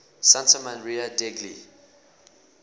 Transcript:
santa maria degli